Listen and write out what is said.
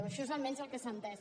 això és almenys el que s’ha entès